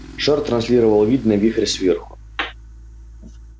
шар транслировал вид на вихрь сверху